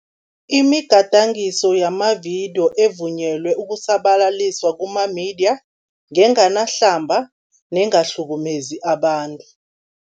Imigadangiso yamavidiyo evunyelwe ukusabalaliswa kumamediya, ngenganahlamba nengahlukumezi abantu.